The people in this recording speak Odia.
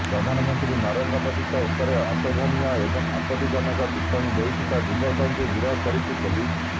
ପ୍ରଧାନମନ୍ତ୍ରୀ ନରେନ୍ଦ୍ର ମୋଦିଙ୍କ ଉପରେ ଅଶୋଭନୀୟ ଏବଂ ଆପତ୍ତିଜନକ ଟିପ୍ପଣୀ ଦେଇଥିବା ଯୁବକକୁ ଗିରଫ କରିଛି ପୋଲିସ